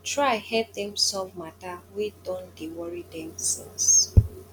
try help dem solve mata wey don dey wori dem since